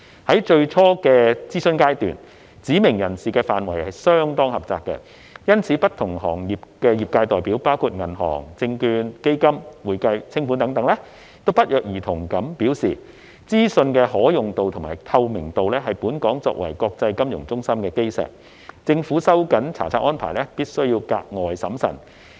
在最初的諮詢階段，指明人士範圍相當狹窄，因此不同行業的業界代表，包括銀行、證券、基金、會計、清盤等，均不約而同地表示，資訊的可用度及透明度是本港作為國際金融中心的基石，政府收緊查冊安排必須格外審慎。